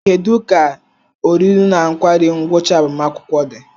Kedu ka oriri na nkwari ngwucha agbamakwụkwọ di?